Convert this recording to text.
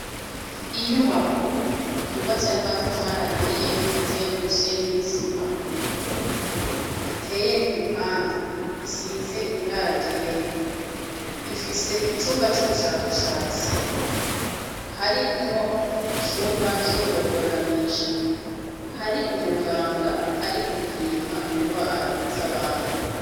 Inyubako yubatse n'amatafari ahiye ikaziye n'umusenyi n'isima, iteye n'igipande isize ibara ryera. Ifise icumba c'ubushakashatsi harimwo icumba kirimwo rugagamisha, hari umuganga ari gupima ingwara z'abantu.